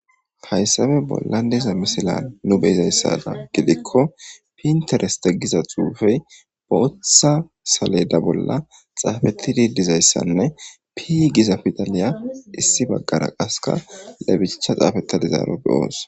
Hayisabe bolla diza misilan nu beyizayssada gidikko pintereste giza xuufey bootha saleda bolla xaafettidi dizayssanne pi giza pidaliya issi baggara qaska lebicha xaafetadizaaro beyoos